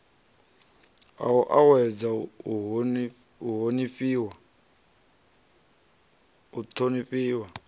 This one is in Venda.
a u uuwedza u honifhiwa